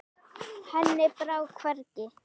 Henni brá hvergi.